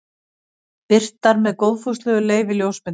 Birtar með góðfúslegu leyfi ljósmyndarans.